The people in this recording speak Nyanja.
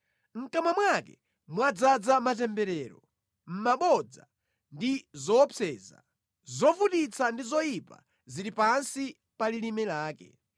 Mʼkamwa mwake mwadzaza matemberero, mabodza ndi zoopseza; zovutitsa ndi zoyipa zili pansi pa lilime lake.